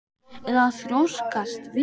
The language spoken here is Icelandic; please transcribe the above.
Eða að þrjóskast við?